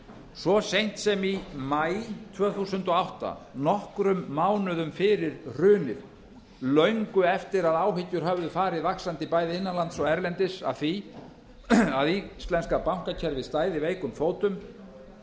svo seint sem í maí tvö þúsund og átta nokkrum mánuðum fyrir hrunið löngu eftir að áhyggjur höfðu farið vaxandi bæði innan lands og erlendis af því að íslenska bankakerfið stæði veikum fótum